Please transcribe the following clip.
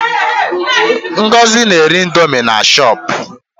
Ngozi na-ere indomi na shọpu.